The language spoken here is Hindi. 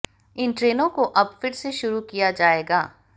इन ट्रेनों को अब फिर से शुरू किया जाएगा